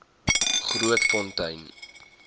grootfontein